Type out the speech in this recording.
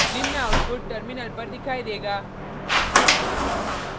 निम्न output terminal पर दिखाई देगा